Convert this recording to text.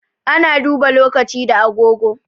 Ana duba lokaci da agogo.